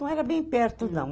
Não era bem perto, não.